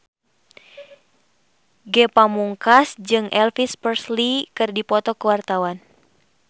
Ge Pamungkas jeung Elvis Presley keur dipoto ku wartawan